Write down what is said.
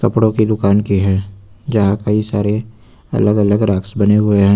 कपड़ों की दुकान की है यहां कई सारे अलग अलग रैक्स बने हुए हैं।